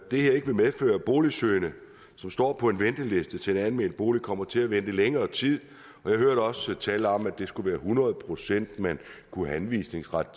det her ikke vil medføre at boligsøgende som står på venteliste til en almen bolig kommer til at vente i længere tid jeg hørte også tale om at det skulle være hundrede procent anvisningsret